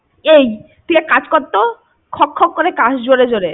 এই তুই এক কাজ করতো খক খক করে কাস জোরে জোরে।